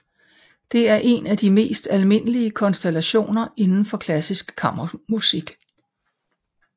Det er en af de mest almindelige konstallationer inden for klassisk kammermusik